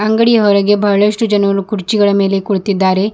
ಅಂಗಡಿಯ ಹೊರಗೆ ಬಹಳಷ್ಟು ಜನರು ಕುರ್ಚಿಗಳ ಮೇಲೆ ಕುಳಿತಿದ್ದಾರೆ.